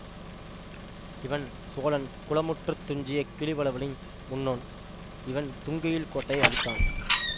இவன் சோழன் குளமுற்றத்துத் துஞ்சிய கிளிவளவனின் முன்னோன் இவன் தூங்கெயில் கோட்டையை அழித்தான்